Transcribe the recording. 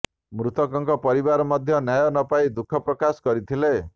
ମୃତକଙ୍କ ପରିବାର ମଧ୍ୟ ନ୍ୟାୟ ନ ପାଇ ଦୁଃଖ ପ୍ରକାଶ କରିଥିଲେ